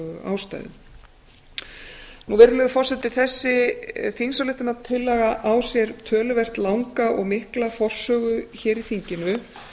ástæðum virðulegur forseti þessi þingsályktunartillaga á sér töluvert langa og mikla forsögu hér í þinginu